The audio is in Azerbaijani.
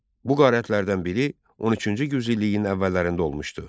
Bu qarətlərdən biri 13-cü yüzilliyin əvvəllərində olmuşdu.